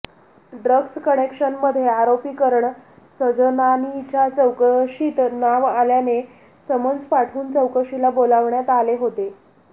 drugs कनेक्शनमध्ये आरोपी करण सजनानीच्या चौकशीत नाव आल्याने समन्स पाठवून चौकशीला बोलावण्यात आले होते